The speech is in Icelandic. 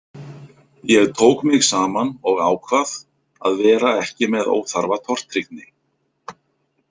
Ég tók mig saman og ákvað að vera ekki með óþarfa tortryggni.